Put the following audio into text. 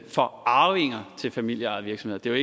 for arvinger til familieejede virksomheder